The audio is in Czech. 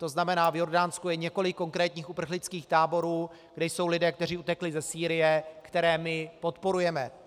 To znamená, v Jordánsku je několik konkrétních uprchlických táborů, kde jsou lidé, kteří utekli ze Sýrie, které my podporujeme.